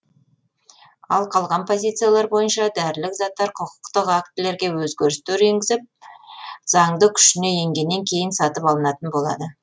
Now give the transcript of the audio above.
ал қалған позициялар бойынша дәрілік заттар құқықтық актілерге өзгерістер енгізіп заңды күшіне енгеннен кейін сатып алынатын болады